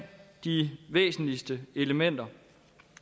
de væsentligste elementer